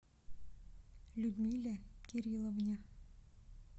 людмиле кирилловне